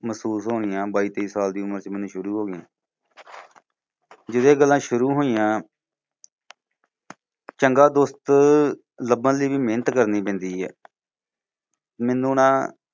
ਮਹਿਸੂਸ ਹੋਣੀਆਂ ਬਾਈ ਤੇਈ ਸਾਲ ਦੀ ਉਮਰ ਚ ਮੈਨੂੰ ਸ਼ੁਰੂ ਹੋ ਗਈਆਂ। ਜਦੋਂ ਇਹ ਗੱਲਾਂ ਸ਼ੁਰੂ ਹੋਈਆਂ ਚੰਗਾ ਦੋਸਤ ਲੱਭਣ ਲਈ ਵੀ ਮਿਹਨਤ ਕਰਨੀ ਪੈਂਦੀ ਹੈ। ਮੈਨੂੰ ਨਾ